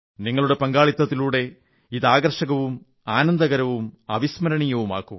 നിങ്ങളുടെ പങ്കാളിത്തത്തിലൂടെ ഇത് ആകർഷകവും ആനന്ദകരവും അവിസ്മരണീയമാക്കൂ